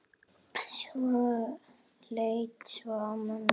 Leit svo á mömmu.